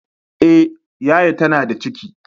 Eh, yaya ta na da ciki